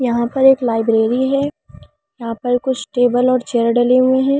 यहां पर एक लाइब्रेरी है यहां पर कुछ टेबल और चेयर डाले हुए हैं।